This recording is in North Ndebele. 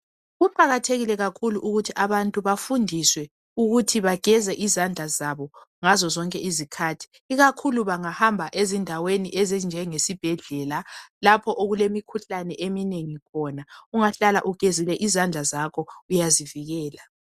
Kuqakathekile kakhulu ukuthi abantu bafundiswe ukuthi bageze izandla zabo ngazozonke izikhathi ikakhulu bangahamba ezindaweni ezinjengesibhedlela lapho okulemikhuhlane eminengi khona. Ungahlala ugezile izandla zakho uyazivikela.